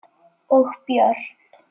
Og börn.